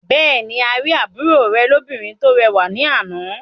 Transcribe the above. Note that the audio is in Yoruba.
Bẹ́ẹ̀ ni, a rí àbúrò rẹ̀ lóbìnrin tó rẹwà ní àná.